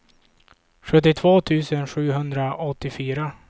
sjuttiotvå tusen sjuhundraåttiofyra